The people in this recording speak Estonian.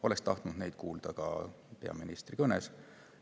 Oleks tahtnud neid kuulda ka peaministri kõnes.